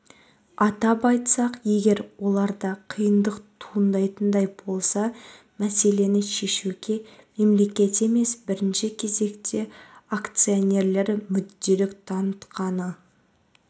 атап айтсақ егер оларда қиындық туындайтындай болса мәселені шешуге мемлекет емес бірінші кезекте акционерлер мүдделік танытқаны